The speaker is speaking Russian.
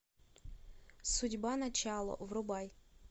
судьба начало врубай